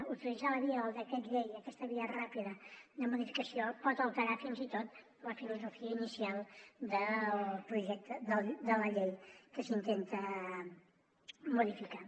utilitzar la via del decret llei aquesta via ràpida de modificació pot alterar fins i tot la filosofia inicial de la llei que s’intenta modificar